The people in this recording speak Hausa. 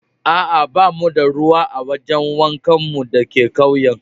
Aa, ba mu da ruwa a gidan wankan mu da ke ƙauyen.